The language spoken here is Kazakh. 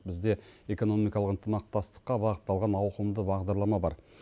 бізде экономикалық ынтымақтастыққа бағытталған ауқымды бағдарлама бар